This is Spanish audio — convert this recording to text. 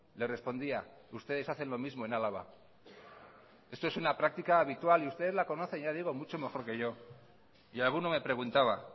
le respondía ustedes hacen lo mismo en álava esto es una práctica habitual y ustedes la conocen ya digo mucho mejor que yo y alguno me preguntaba